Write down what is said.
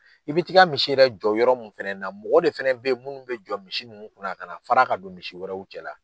I bi ti ka misi yɛrɛ jɔ yɔrɔ min fana na mɔgɔ de fana bɛ yen minnu bɛ jɔ misi ninnu kunna na kana fara ka don misi wɛrɛw cɛla.